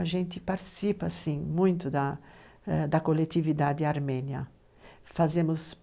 A gente participa sim, muito da coletividade armênia. Fazemos,